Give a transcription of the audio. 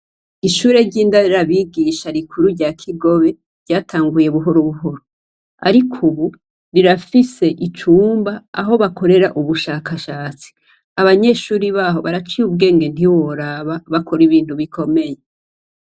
Ishure ryindera bigisha rikuru rya Kigobe, ryatanguye buhorobuhoro. Ariko Ubu, rirafise icumba, Aho bakorera ubushakashatsi. Abanyeshure baho, baraciye ubwenge ntiworaba bakora ibintu bikomeye.